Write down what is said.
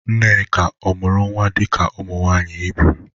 Nneka ọ mụrụ nwa dị ka ụmụ nwaanyị Hibru?